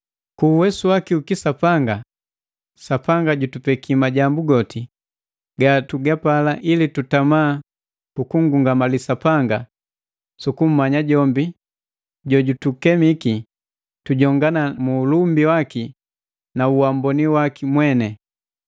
Ku uwesu waki u kisapanga, Sapanga jutupeki majambu goti gatugapala ili tutama kukungungamali Sapanga sukummanya jombi jojutukemiki tujongana mu ulumbi waki na uamboni waki mweni.